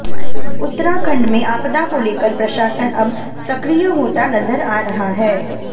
उत्तराखंड में आपदा को लेकर प्रशासन अब सक्रिय होता नजर आ रहा है